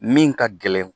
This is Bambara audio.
Min ka gɛlɛn